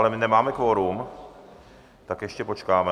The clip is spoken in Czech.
Ale my nemáme kvorum, tak ještě počkáme.